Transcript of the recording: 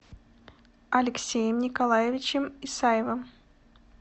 алексеем николаевичем исаевым